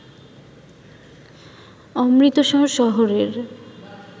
অমৃতসর শহরের